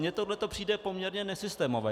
Mně tohle přijde poměrně nesystémové.